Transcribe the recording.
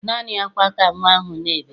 Naanị ákwá ka nnwa ahụ na-ebe.